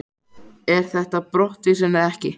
Er þetta brottvísun eða ekki?